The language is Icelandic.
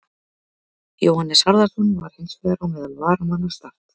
Jóhannes Harðarson var hins vegar á meðal varamanna Start.